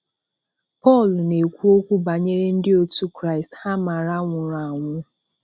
Paul na-ekwu okwu banyere ndị otu Kraịst ha maara nwụrụ anwụ.